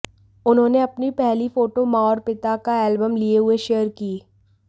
उन्होंने अपनी पहली फोटो मां और पिता का एल्बम लिए हुए शेयर की